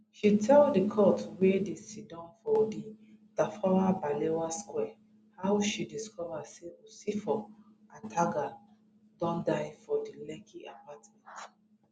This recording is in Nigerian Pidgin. she tell di court wey dey siddon for di tafawa balewa square how she discover say usifo ataga don die for di lekki apartment